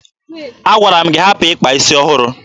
Agwara m gị hapụ ịkpa isi ọhụrụ!